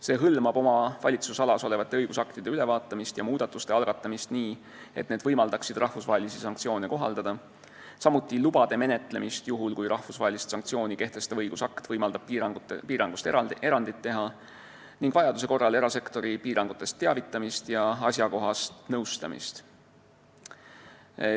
See hõlmab oma valitsusalas olevate õigusaktide ülevaatamist ja muudatuste algatamist nii, et need võimaldaksid rahvusvahelisi sanktsioone kohaldada, samuti lubade menetlemist juhul, kui rahvusvahelist sanktsiooni kehtestav õigusakt võimaldab piirangust erandit teha, ning vajaduse korral erasektori piirangutest teavitamist ja asjakohast nõustamist.